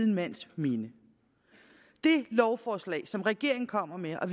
mands minde det lovforslag som regeringen kommer med og